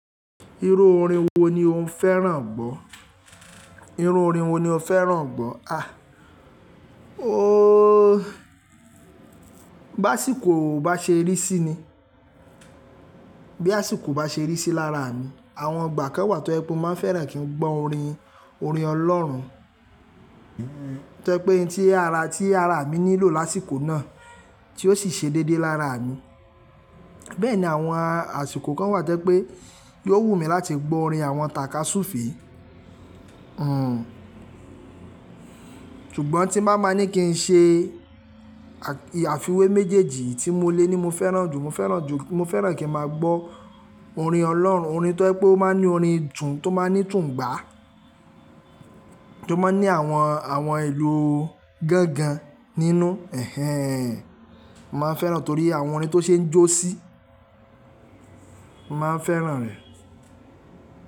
Irú orin wo ni o ń fẹ́ràn gbọ́? Irú orin wo ni o fẹ́ràn gbọ́? À, ooo, bá sìkò bá ṣe rí sí ni, bí àsìkò bá ṣe rí sí lára mi, àwọn ìgbà kan wa tó jẹ́ pé mo máa ń fẹ́ràn kí n gbọ́ orin, orin Ọlọ́run. Tẹ́ jẹ̀ ti ara, ti ara mi nílò lásìkò náà, tí ó sì ṣe dédé lára mi. Bẹ́ẹ̀ ni, àwọn àsìkò kan wà tẹ́ pé yóò wù mí láti gbọ́ orin àwọn tàkasúùfe. Hmmm. Ṣùgbọ́n tí màá máa ní kí n ṣe àfiwé méjèèjì tí mo lè ní mo fẹ́ràn jù, mo fẹ́ràn jù, mo fẹ́ràn kí n máa gbọ́ orin ọlọ́run, orin tó ẹ́ pé ó máa ń ní orin jùn, tó máa ń ní tún gbá. Tó máa ń ní àwọn, àwọn ìlù gangan nínú. Ẹ̀hẹ́n. Mo máa ń fẹ́ràn torí àwọn orin tó ṣe ń jó sí, mo máa ń fẹ́ràn rẹ̀.